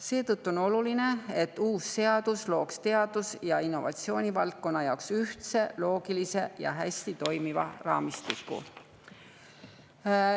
Seetõttu on oluline, et uus seadus looks teaduse ja innovatsiooni valdkonna jaoks ühtse, loogilise ja hästi toimiva raamistiku.